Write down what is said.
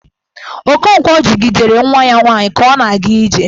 Okonkwo jidere nwa ya nwaanyi ka ọ na-aga ije.